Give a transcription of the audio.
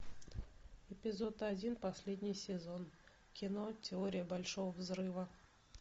эпизод один последний сезон кино теория большого взрыва